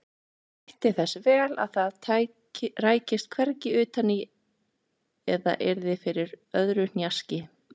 Hann gætti þess vel að það rækist hvergi utan í eða yrði fyrir öðru hnjaski.